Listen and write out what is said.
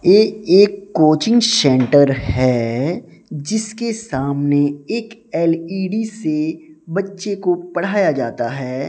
ये एक coaching centre है जिसके सामने एक एल_इ_डी से बच्चे को पढ़ाया जाता है।